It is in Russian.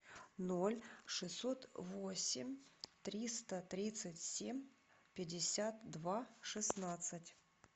ноль шестьсот восемь триста тридцать семь пятьдесят два шестнадцать